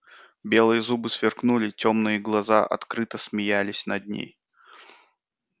белые зубы сверкнули тёмные глаза открыто смеялись над ней